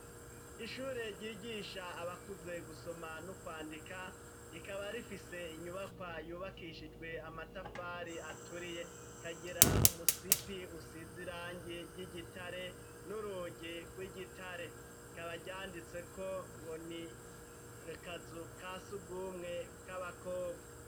Ishure ryigisha abakuze gusoma no kwandika rikaba rifise inyubakwa yubakishijwe amatafari aturiye kagira umusipi usizirangi ry'igitare n'urugi rw'igitare kabaryanditse ko ngo ni kazu kasugumwe k'abakobwa.